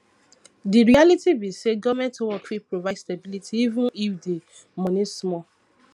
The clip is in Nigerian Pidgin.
di reality be sey government work fit provide stability even if di money small